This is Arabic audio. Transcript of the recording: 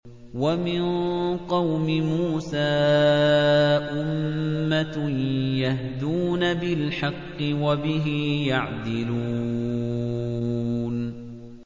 وَمِن قَوْمِ مُوسَىٰ أُمَّةٌ يَهْدُونَ بِالْحَقِّ وَبِهِ يَعْدِلُونَ